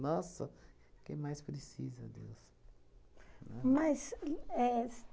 o que mais precisa Deus? Né? Mas, e éh s